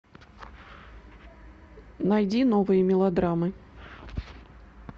найди новые мелодрамы